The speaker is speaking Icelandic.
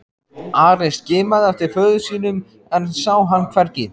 Ari skimaði eftir föður sínum en sá hann hvergi.